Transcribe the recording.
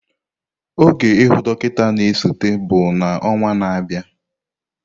Oge ihu dọkịta na-esote bụ na ọnwa na-abịa.